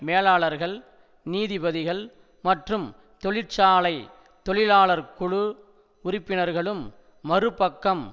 மேலாளர்கள் நீதிபதிகள் மற்றும் தொழிற்சாலை தொழிலாளர்குழு உறுப்பினர்களும் மறுபக்கம்